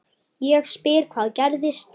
Ég spyr hvað gerðist?